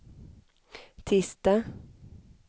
tisdag